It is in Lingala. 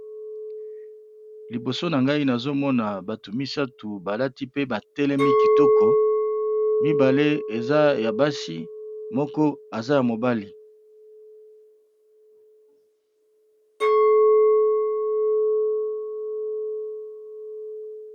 Liboso na ngai nazomona bato misato balati pe batelemi kitoko mibale eza ya basi moko aza ya mobali.